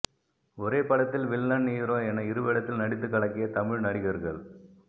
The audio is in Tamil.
ஒரே படத்தில் வில்லன் ஹீரோ என இருவேடத்தில் நடித்து கலக்கிய தமிழ் நடிகர்கள்